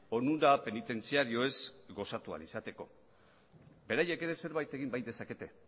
onura penitentziarioez gozatu ahal izateko beraiek ere zerbait egin bai dezakete